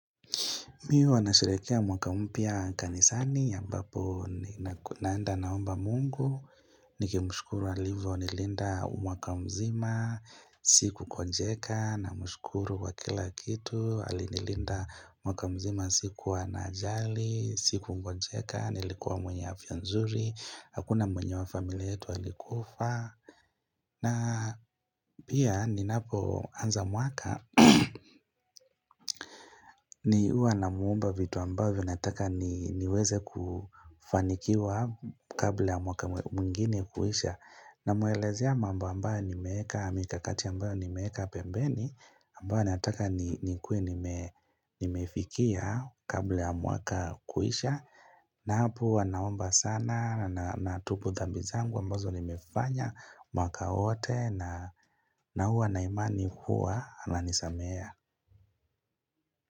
Mimi huwa nasherehekea mwaka mpya kanisani ya ambapo naenda naomba mungu, nikimushukuru alivyo nilinda mwaka mzima, siku gonjeka namshukuru kwa kila kitu, alinilinda mwaka mzima sikuwa na ajali, sikugonjeka, nilikuwa mwenye afya nzuri, hakuna mwenye wa familia yetu alikufa. Na pia ninapo anza mwaka ni huwa namuomba vitu ambavyo nataka niweze kufanikiwa kabla ya mwaka mwingine kuisha Namuelezea mambo ambayo nimeweka mikakati ambayo nimeweka pembeni ambayo nataka nikuwe nimefikia kabla ya mwaka kuisha na hapo huwa naomba sana natubu dhambi zangu ambazo nimefanya mwaka wote na huwa na imani kuwa ananisamea.